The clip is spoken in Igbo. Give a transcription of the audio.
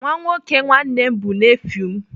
Nwa nwoke nwanne m bụ nefiu m.